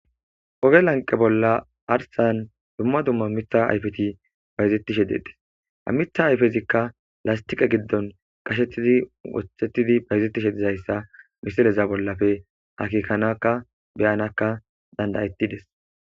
oge lanqe bolla arsan dumma dumma mitha ayfeti bayzettishe dedes amitha ayfezikka lastiqe giddon qashetidi woththettidi bayzettishe dizayssa misileza bollafe hakiikanakka beyanakka dandayettides